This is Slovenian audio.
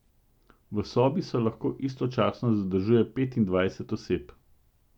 V sobi se lahko istočasno zadržuje petindvajset oseb.